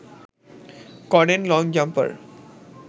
করেন long jumper